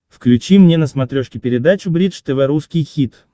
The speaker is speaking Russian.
включи мне на смотрешке передачу бридж тв русский хит